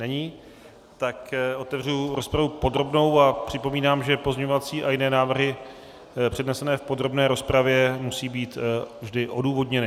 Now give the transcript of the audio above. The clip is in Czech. Není, tak otevřu rozpravu podrobnou a připomínám, že pozměňovací a jiné návrhy přednesené v podrobné rozpravě musí být vždy odůvodněny.